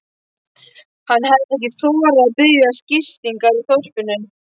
Hann hefði ekki þorað að biðjast gistingar í þorpinu.